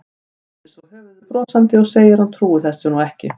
Hristir svo höfuðið brosandi og segir að hún trúi þessu nú ekki.